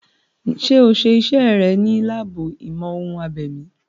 Ṣé o ṣe iṣẹ́ rẹ̀ ní láàbù ìmọ̀-ohun-abèmí?